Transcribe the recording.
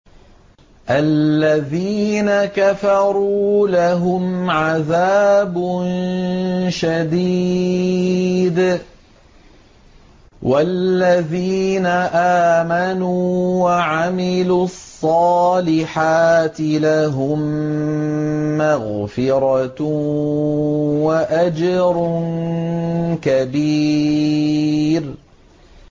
الَّذِينَ كَفَرُوا لَهُمْ عَذَابٌ شَدِيدٌ ۖ وَالَّذِينَ آمَنُوا وَعَمِلُوا الصَّالِحَاتِ لَهُم مَّغْفِرَةٌ وَأَجْرٌ كَبِيرٌ